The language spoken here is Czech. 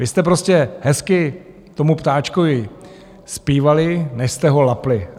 Vy jste prostě hezky tomu ptáčkovi zpívali, než jste ho lapli.